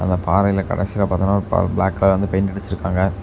இந்த பாறையில கடைசியில பாத்தோனா பிளாக் கலர்ல பெயிண்ட் அடிச்சுருக்காங்க.